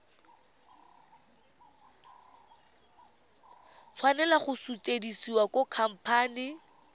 tshwanela go sutisediwa go khamphane